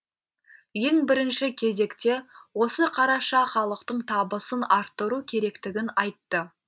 ең бірінші кезекте осы қараша халықтың табысын арттыру керектігін айтты